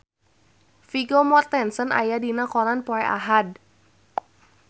Vigo Mortensen aya dina koran poe Ahad